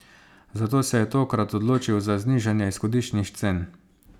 Zato se je tokrat odločil za znižanje izhodiščnih cen.